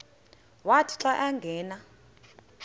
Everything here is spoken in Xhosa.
wathi xa angena